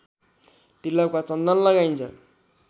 तिलक वा चन्दन लगाइन्छ